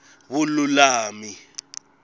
vululami